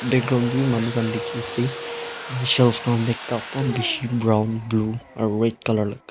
background tae wi manu khan dikhiase aro shelf khan tae cup eman bishi brown blue aro red colour --